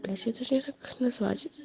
как назвать